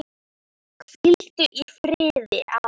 Hvíldu í friði, afi.